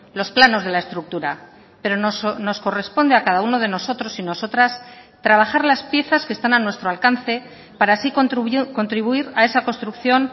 los planos de la estructura pero nos corresponde a cada uno de nosotros y nosotras trabajar las piezas que están a nuestro alcance para así contribuir a esa construcción